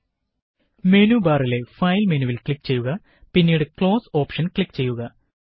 001025 001024 menu ബാറിലെ file മെനുവില് click ചെയ്യുക പിന്നീട് ക്ലോസ് ഓപ്ഷന് ക്ലിക്ക് ചെയ്യുക